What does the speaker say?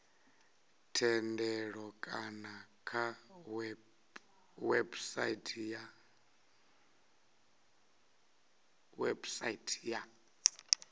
thendelo kana kha website ya